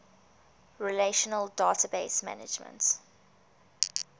relational database management